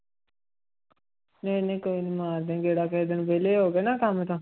ਨਹੀਂ ਨਹੀਂ ਕੋਈ ਨੀ ਮਾਰਦੇ ਹਾਂ ਗੇੜਾ ਕਿਸੇ ਦਿਨ ਵਿਹਲੇ ਹੋ ਕੇ ਨਾ ਕੰਮ ਤੋਂ।